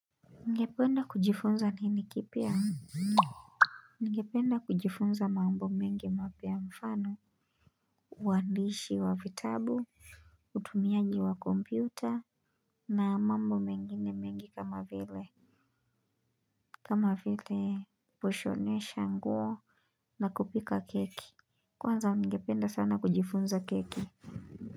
Ungependa kujifunza nini kipya? Ningependa kujifunza mambo mengi mapya mfano, uandishi wa vitabu, utumiaji wa kompyuta, na mambo mengine mengi kama vile. Kama vile kushonesha nguo na kupika keki. Kwanza ningependa sana kujifunza keki.